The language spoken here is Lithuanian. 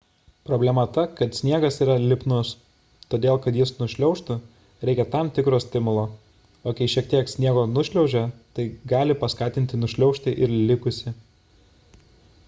problema ta kad sniegas yra lipnus todėl kad jis nušliaužtų reikia tam tikro stimulo o kai šiek tiek sniego nušliaužia tai gali paskatinti nušliaužti ir likusį